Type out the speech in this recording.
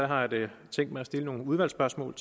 har jeg da tænkt mig at stille nogle udvalgsspørgsmål